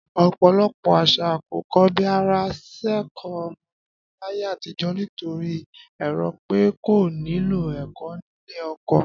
Ọ̀pò̩lo̩pò̩ às̩à kò ko̩bi ara sẹ́kọ̀ọ́ ọmọbìnrin láyé àtijọ́, nítorí èrò pé kò nílò̩ ẹ̀kọ́ nílé o̩ko̩